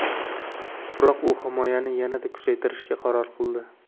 Biroq u himoyani yanada kuchaytirishga qaror qildi.